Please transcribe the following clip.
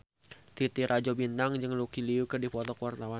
Titi Rajo Bintang jeung Lucy Liu keur dipoto ku wartawan